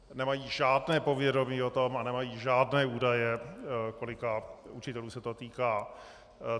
Nemají žádné povědomí o tom a nemají žádné údaje, kolika učitelů se to týká.